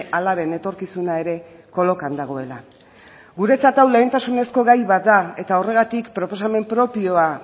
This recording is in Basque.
alaben etorkizuna ere kolokan dagoela guretzat hau lehentasunezko gai bat da eta horregatik proposamen propioa